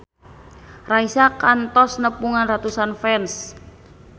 Raisa kantos nepungan ratusan fans